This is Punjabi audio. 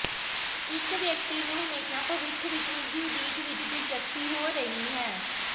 ਇੱਕ ਵਿਅਕਤੀ ਨੂੰ ਹਮੇਸ਼ਾ ਭਵਿੱਖ ਵਿੱਚ ਉਸ ਦੀ ਉਡੀਕ ਵਿੱਚ ਦਿਲਚਸਪੀ ਹੋ ਰਹੀ ਹੈ